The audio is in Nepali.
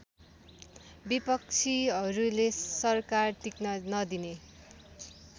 विपक्षीहरुले सरकार टिक्न नदिने